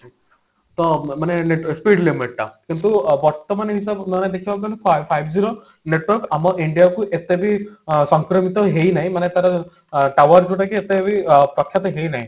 ତ ମାନେ speed limit ତା କିନ୍ତୁ ବର୍ତମାନ ହିସାବ ହିସାବନେଲେ five five G ର network ଆମ India କୁ ଏତେ ବି ସଂକ୍ରମିତ ହେଇନାହିଁ ମାନେ ତାର tower ଯୋଉଟା କି ଏତେ ବି ପ୍ରଖ୍ୟାତ ହେଇନାହିଁ